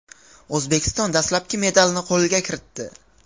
O‘zbekiston dastlabki medalni qo‘lga kiritdi.